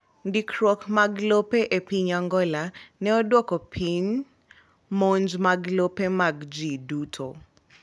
Ndikruok mag lope e piny Angola ne odwoko piny monj mag lope mag ji duto.